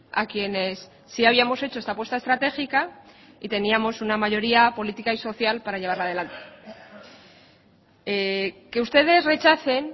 a quienes sí habíamos hecho esta apuesta estratégica y teníamos una mayoría política y social para llevar adelante que ustedes rechacen